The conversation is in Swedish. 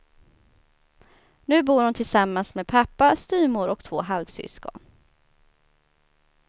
Nu bor hon tillsammans med pappa, styvmor och två halvsyskon.